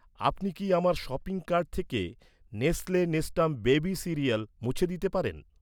আপনি কি আমার শপিং কার্ট থেকে নেস্লে নেস্টাম বেবি সিরিয়াল মুছে দিতে পারেন?